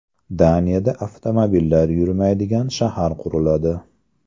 Daniyada avtomobillar yurmaydigan shahar quriladi.